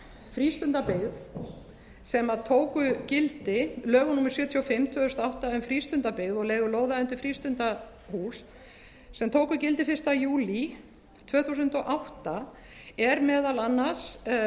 frístundabyggð sem tóku gildi lögum númer sjötíu og fimm tvö þúsund og átta um frístundabyggð og leigu lóða undir frístundahús sem tóku gildi fyrsta júlí tvö þúsund og átta er meðal annars